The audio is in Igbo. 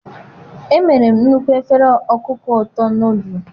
emere m nnukwu efere ọkụkọ ụtọ nọdụlụ.